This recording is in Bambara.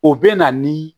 O bɛ na ni